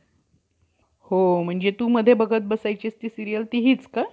म्हणूनच ब्राम्हणांच्या उत्पत्तीविषयी लिहून ठेवले नाही. सबब या दोषाचे खापर त्यांच्याच बो~ बोटक्यावर फोडा.